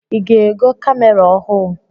I ga-ego kamera ọhụụ?